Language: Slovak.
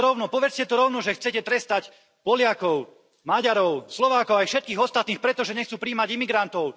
Povedzte to rovno, že chcete trestať Poliakov, Maďarov, Slovákov aj všetkých ostatných, pretože nechcú prijímať imigrantov.